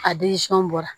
A bɔra